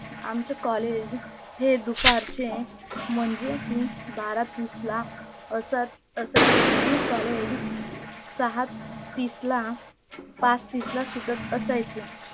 आमच collage हे दुपारचे म्हणजे की बारा तीसला असत असायचे आणी collage सहा तीसला पाच तीसला सुटत असायचे